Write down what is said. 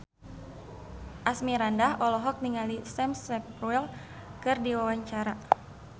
Asmirandah olohok ningali Sam Spruell keur diwawancara